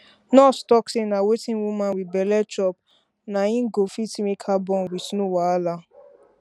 nurse talk say na wetin woman wit belle chop na go fit make her born wit no wahala